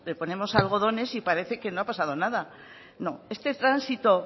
ponemos algodones y parece que no ha pasado nada no este tránsito